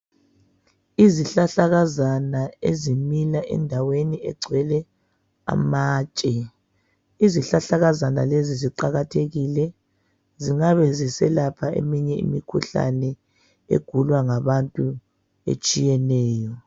Izihlahlakazana ezimila endaweni egcwele amatshe. Izihlahlakazana lezi. ziqakathekile zingabe ziselapha eminye imikhuhlane egulwa ngabanye abantu etshiyeneyo.